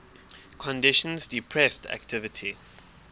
conditions depressed activity